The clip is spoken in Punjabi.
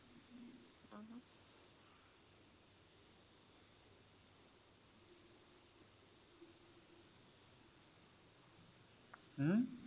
ਹਮ